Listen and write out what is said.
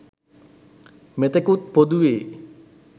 මෙතෙකුත් පොදුවේ